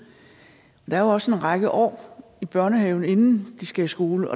jeg er jo også en række år i børnehaven inden de skal i skole